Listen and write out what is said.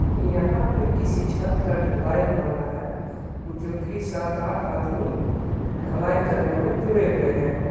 यहां पे किसी छत का ढलाई हो रहा है जो की सात आठ आदमी ढलाई करने में जुड़े हुए हैं.